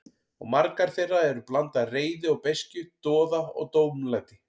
Og margar þeirra eru blanda af reiði og beiskju, doða og tómlæti.